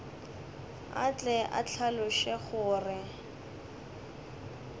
a tle a hlaloše gore